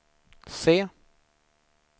se